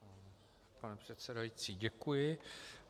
Pane předsedající, děkuji.